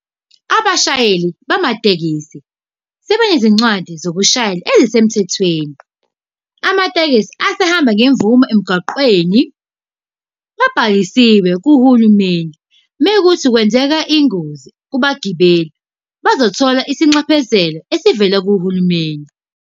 Abashayeli bamatekisi sebenezincwadi zokushayela ezisemthethweni. Amatekisi asehamba ngemvume emgwaqeni, abhalisiwe kuhulumeni. Mekuwukuthi kwenzeka ingozi kubagibeli, bazothola isinxephezelo esivela kuhulumeni.